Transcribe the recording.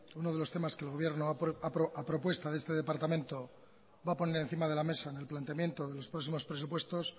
uno de los temas que el gobierno a propuesta de este departamento va a poner encima de la mesa en el planteamiento de los próximos presupuestos